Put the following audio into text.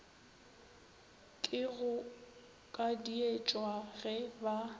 ke go kadietšwa ge ba